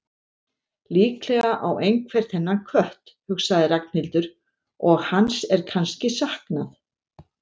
Líklega á einhver þennan kött, hugsaði Ragnhildur, og hans er kannski saknað.